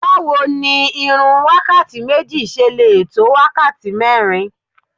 Báwo ni irun wákàtí méjì ṣe lè tó wákàtí mẹ́rin?